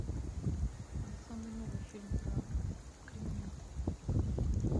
самый новый фильм про криминал